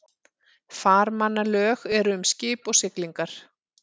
Farmannalög eru um skip og siglingar.